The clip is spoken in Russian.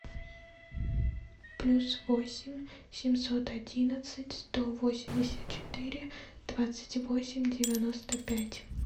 плюс восемь семьсот одиннадцать сто восемьдесят четыре двадцать восемь девяносто пять